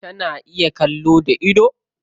Tana iya kallo da idon?